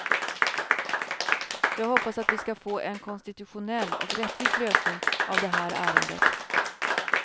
Jag hoppas att vi ska få en konstitutionell och rättvis lösning av det här ärendet.